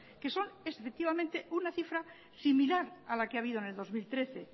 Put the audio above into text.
que son efectivamente una cifra similar a la que ha habido en el dos mil trece